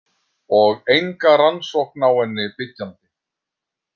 Og enga rannsókn á henni byggjandi.